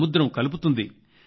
సముద్రం కలుపుతుంది